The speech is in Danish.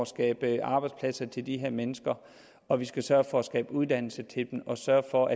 skabe arbejdspladser til de her mennesker og vi skal sørge for at skabe uddannelse til dem og sørge for